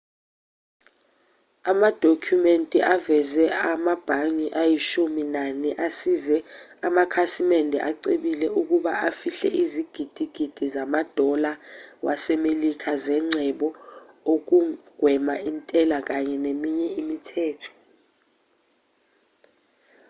amadokhumenti aveze amabhangi ayishumi nane asize amakhasimende acebile ukuba afihle izigidigidi zama-dollar wase-melika zengcebo ukugwema intela kanye neminye imithetho